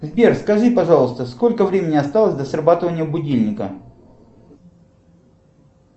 сбер скажи пожалуйста сколько времени осталось до срабатывания будильника